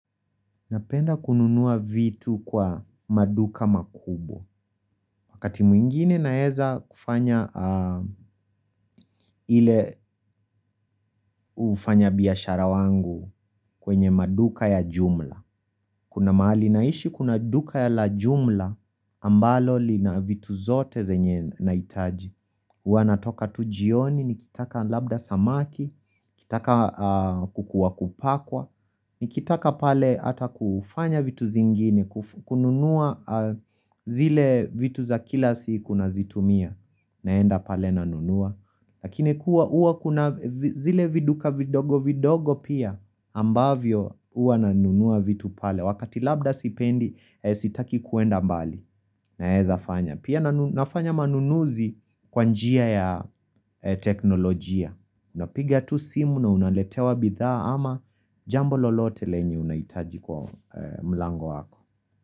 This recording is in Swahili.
Napenda kununua vitu kwa maduka makubwa. Wakati mwingine naweza kufanya ile ufanya biashara wangu kwenye maduka ya jumla. Kuna mahali naishi kuna duka ya la jumla ambalo lina vitu zote zenye nahitaji. Wanatoka tu jioni, nikitaka labda samaki, nikitaka kuku wa kupakwa, nikitaka pale hata kufanya vitu zingine. Kununua zile vitu za kila siku nazitumia naenda pale nanunua Lakini kuwa uwa kuna zile viduka vidogo vidogo pia ambavyo uwa nanunua vitu pale Wakati labda sipendi sitaki kuenda mbali Naeza fanya Pia nafanya manunuzi kwa njia ya teknolojia na piga tu simu na unaletewa bidha ama Jambo lolote lenye unaitaji kwa mlango wako.